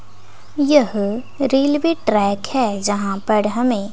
यह railway track है यहां पर हमें--